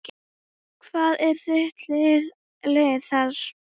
Hvað er þitt lið þar?